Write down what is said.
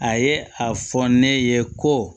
A ye a fɔ ne ye ko